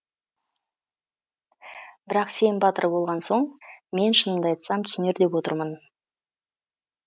бірақ сен батыр болған соң мен шынымды айтсам түсінер деп отырмын